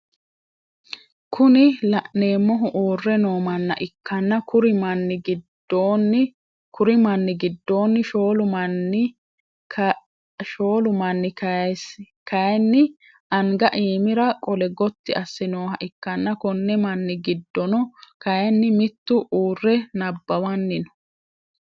Kuni laneemmohu uure no manna ikkanna kuri manni gidoonni shoolu Mani kaayiini anga imira qole Gotti asse noooha ikkanna Konni Mani gidono kaayiini mittu u're anabbawanni no